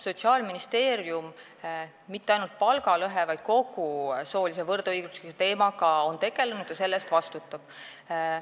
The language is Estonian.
Sotsiaalministeerium on tegelenud mitte ainult palgalõhe, vaid kogu soolise võrdõiguslikkuse teemaga ja vastutab selle eest.